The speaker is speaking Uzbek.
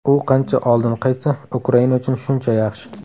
U qancha oldin qaytsa, Ukraina uchun shuncha yaxshi.